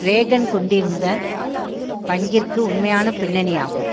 Reagan கொண்டிருந்த பங்கிற்கு உண்மையான பின்னணியாகும்